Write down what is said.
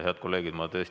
Head kolleegid!